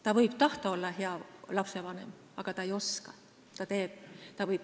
Ta võib tahta olla hea lapsevanem, aga ta ei oska.